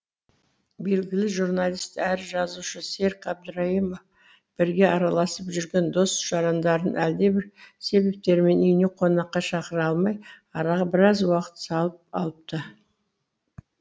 белгілі журналист әрі жазушы серік әбдірайымов бірге араласып жүрген дос жарандарын әлдебір себептермен үйіне қонаққа шақыра алмай араға біраз уақыт салып алыпты